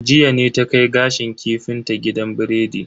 Jiya ne ta kai gashin kifin ta gidan biredi.